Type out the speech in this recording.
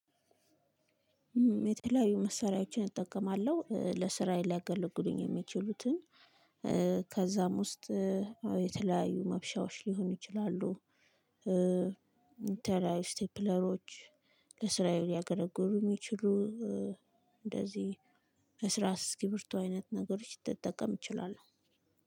የተለያዩ መሳሪያዎችን እጠቀማለሁ ለስራዬ ሊያገለግሉኝ እሚችሉትን ከዛም ውስጥ የተለያዩ መብሻዎች ሊሆን ይችላሉ። የተለያዩ ስቴፕለሮች ለስራየ ሊያገለግሉ እሚችሉ እንደዚህ እርሳስ እስክሪብቶ አይነት ነገሮች ልትጠቀም እችላለሁ።